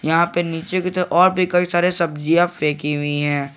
यहां पे नीचे की तरफ और भी कई सारे सब्जियां फेंकी हुई है।